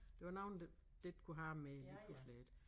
Det var nogen der der ikke kunne have dem mere lige pludselig ik